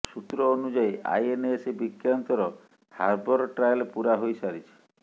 ସୂତ୍ର ଅନୁଯାୟୀ ଆଇଏନଏସ ବିକ୍ରାନ୍ତର ହାର୍ବର ଟ୍ରାଏଲ ପୂରା ହୋଇ ସାରିଛି